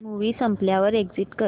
movie संपल्यावर exit कर